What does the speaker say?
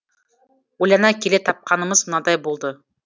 ойлана келе тапқанымыз мынадай болды